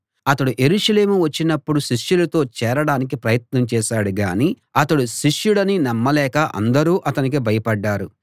అతడు యెరూషలేము వచ్చినపుడు శిష్యులతో చేరడానికి ప్రయత్నం చేశాడు గాని అతడు శిష్యుడని నమ్మలేక అందరూ అతనికి భయపడ్డారు